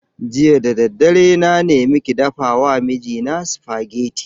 Jiya da daddare na nemi ki dafa wa mijina spaghetti.